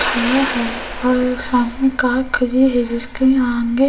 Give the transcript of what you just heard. खरा है और सामने कार खली है जिसके आगे --